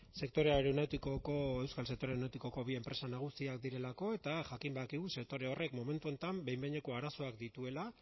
euskal sektore aeronautikoko bi enpresa nagusiak direlako eta jakin badakigu sektore horrek momentu honetan behin behineko arazoak dituela